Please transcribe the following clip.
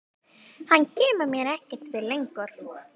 Hann kemur mér ekkert við lengur.